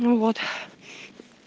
ну вот